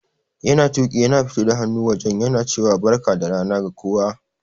Yana Tuƙi yana fito da hannu wajen yana cewa Barka da rana ga kowa.